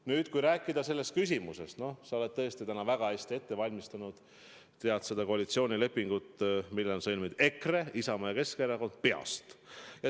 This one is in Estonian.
Nüüd, kui rääkida sellest küsimusest, siis sa oled tõesti täna väga hästi ette valmistanud, tead seda koalitsioonilepingut, mille on sõlminud EKRE, Isamaa ja Keskerakond, peast.